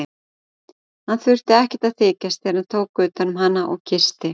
Hann þurfti ekkert að þykjast þegar hann tók utan um hana og kyssti.